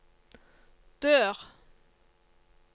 dør